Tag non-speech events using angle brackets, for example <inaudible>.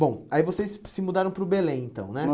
Bom, aí vocês se mudaram para o Belém, então, né? <unintelligible>